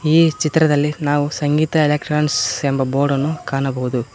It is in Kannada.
ಈ ಚಿತ್ರದಲ್ಲಿ ನಾವು ಸಂಗೀತ ಎಲೆಕ್ಟ್ರಾನ್ಸ್ ಎಂಬ ಬೋರ್ಡನ್ನು ಕಾಣಬಹುದು.